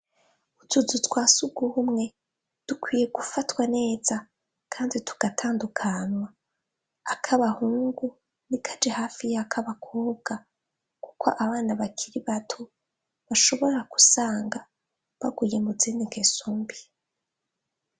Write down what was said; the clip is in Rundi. Utuzu twa surwumwe dukwiye gufatwa neza kandi tugatandukanywa ak'abahungu ntikaje hafi y'ak'abakobwa kuko abana bakiri bato bashobora gusanga baguye mu zindi ngeso mbi.